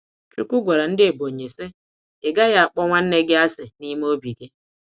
Chukwu gwara ndị Ebonyi sị, ịgaghi akpọ nwanne gị àsị̀ n'ime obi gi.